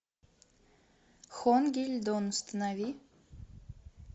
хон гиль дон установи